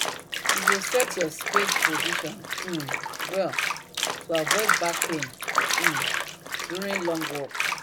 you go set your spade position um well to avoid back pain um during long work